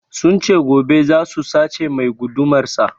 Sun ce gobe zasu sace mai gudumar sa